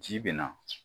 Ji bɛ na